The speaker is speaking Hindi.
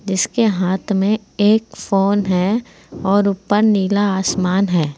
इसके हाथ में एक फोन है और ऊपर नीला आसमान है।